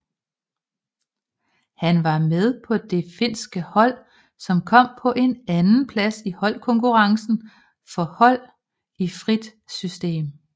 Han var med på det finske hold som kom på en andenplads i holdkonkurrencen for hold i frit system